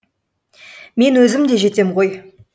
мен өзім де жетем ғой